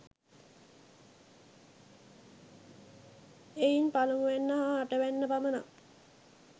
එයින් පළමුවැන්න හා අටවැන්න පමණක්